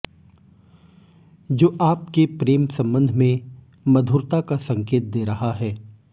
जो आपके प्रेम संबंध में मधुरता का संकेत दे रहा है